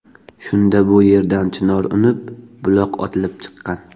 Shunda bu yerdan chinor unib, buloq otilib chiqqan.